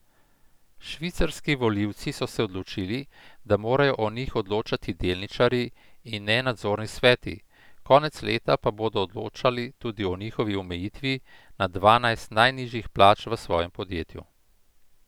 Švicarski volivci so odločili, da morajo o njih odločati delničarji in ne nadzorni sveti, konec leta pa bodo odločali tudi o njihovi omejitvi na dvanajst najnižjih plač v svojem podjetju.